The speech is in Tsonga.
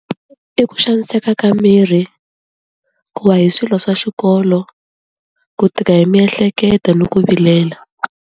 I ku xaniseka ka miri ku va hi swilo swa xikolo ku tika hi miehleketo ni ku vilela.